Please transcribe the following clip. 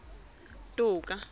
toka